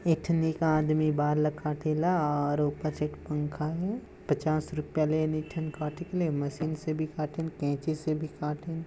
एक ठन एक आदमी बाल ला काटेला और ऊपर से पंखा है पचास रुपया लेइन एक ठन काटे के ले मशीन से भी काटन कैंची से भी काटन--